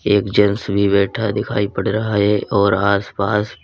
एक जेंट्स भी बैठा दिखाई पड़ रहा है और आस पास--